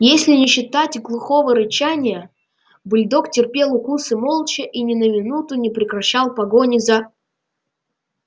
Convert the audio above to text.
если не считать глухого рычания бульдог терпел укусы молча и ни на минуту не прекращал погони за